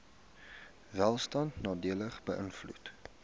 welstand nadelig beïnvloed